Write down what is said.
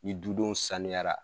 Ni dudenw sanuyara.